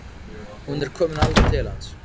Hún er komin alveg til hans.